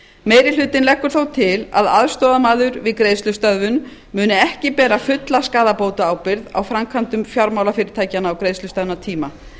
meiri hlutinn leggur þó til að aðstoðarmaður við greiðslustöðvun muni ekki bera fulla skaðabótaábyrgð á framkvæmdum fjármálafyrirtækjanna á greiðslustöðvunartíma